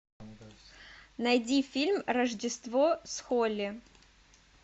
найди фильм рождество с холли